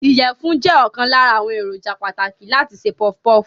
Ìyẹ̀fun jẹ́ ọ̀kan lára àwọn èròjà pàtàkì láti se puff puff.